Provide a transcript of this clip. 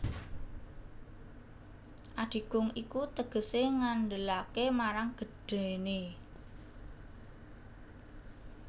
Adigung iku tegesé ngandelaké marang gedhéné